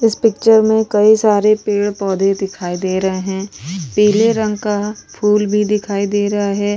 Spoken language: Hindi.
इस पिक्चर में कई सारे पेड़-पौधे दिखाई दे रहे हैं पीले रंग का फूल भी दिखाई दे रहा है ।